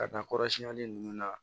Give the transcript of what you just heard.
Ka taa kɔrɔsiyɛnli ninnu na